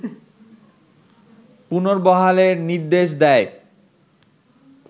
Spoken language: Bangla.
পুনর্বহালের নির্দেশ দেয়